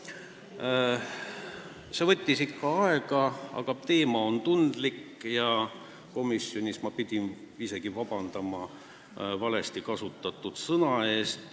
See kõik võttis päris palju aega, aga teema on tundlik ja komisjonis ma pidin isegi vabandust paluma valesti kasutatud sõna eest.